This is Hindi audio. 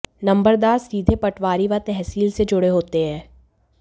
नंबरदार सीधे पटवारी व तहसील से जुड़े होते हैं